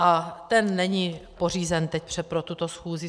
A ten není pořízen teď pro tuto schůzi.